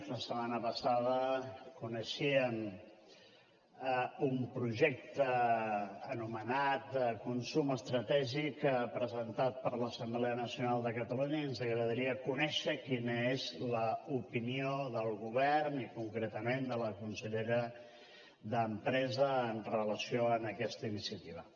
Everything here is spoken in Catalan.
la setmana passada coneixíem un projecte anomenat consum estratègic presentat per l’assemblea nacional de catalunya i ens agradaria conèixer quina és l’opinió del govern i concretament de la consellera d’empresa amb relació a aquesta iniciativa